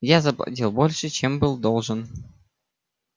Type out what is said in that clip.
я заплатил больше чем был должен